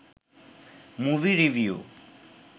movie review